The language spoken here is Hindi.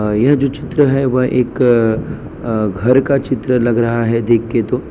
अ यह जो चित्र हैं वह एक अ घर का चित्र लग रहा है देखके तो।